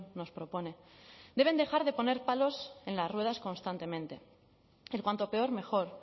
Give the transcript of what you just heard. nos propone deben dejar de poner palos en las ruedas constantemente el cuanto peor mejor